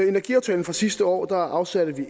energiaftalen fra sidste år afsatte